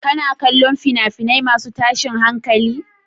Kana kallon fina-finai masu tashin hankali?